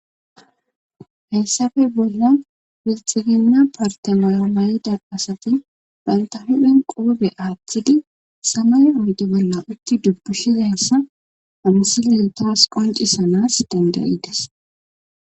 Hessafe bolla pilixilina parte mayo mayida asati banta hudhen qoobe aaththidi samay oyde bolla utti dubbushizaessa amsileltowas qoncisanas dandayides.